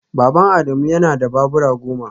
Baban Adamu yana da babura goma